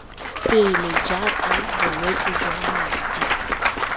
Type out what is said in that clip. pele jaaka bolwetse jwa madi